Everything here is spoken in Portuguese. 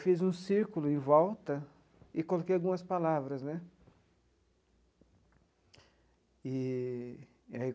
Fiz um círculo em volta e coloquei algumas palavras né eee.